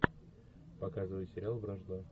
показывай сериал вражда